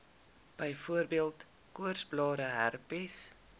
byvoorbeeld koorsblare herpes